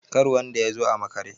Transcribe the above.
kar wanda ya zo a makare!